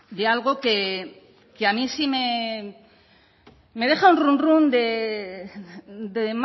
de algo que a mí sí me deja un run run